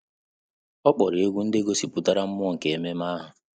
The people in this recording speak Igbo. Ọ́ kpọ̀rọ́ égwu ndị gọ́sị̀pụ̀tárà mmụọ nke ememe ahụ.